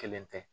Kelen tɛ